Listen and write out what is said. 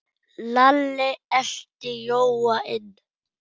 Lalli elti Jóa inn.